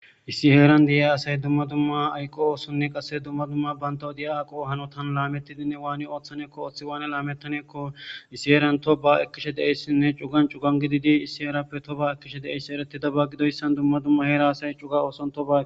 Issi heeran de'a asay dumma dumma aykqo oosonne qase dumma dumma bayntow diya aaqo hanotan laamettidinne waani ooththaneekko oththi waane laamettaneekko issi heeran to ba ekkishe deessinne cugan cugan gididi issi erappe to ba ekkishe deessi eretidaba gidoyssan dumma dumma heera asay cuga oosontoba.